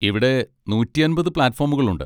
ഇവിടെ നൂറ്റി അമ്പത് പ്ലാറ്റുഫോമുകൾ ഉണ്ട്.